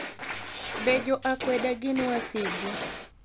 Be jo akwede gin wasigu?